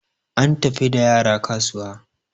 an tafi da yara kasuwa